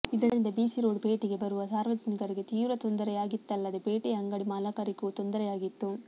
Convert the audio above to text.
ಇದರಿಂದ B C road ಪೇಟೆಗೆ ಬರುವ ಸಾರ್ವಜನಿಕರಿಗೆ ತೀವ್ರ ತೊಂದರೆಯಾಗಿತ್ತಲ್ಲದೆ ಪೇಟೆಯ ಅಂಗಡಿ ಮಾಲಕರಿಗೂ ತೊಂದರೆಯಾಗಿತ್ತು